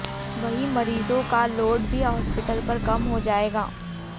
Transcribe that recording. वहीं मरीजों का लोड भी हॉस्पिटल पर कम हो जाएगा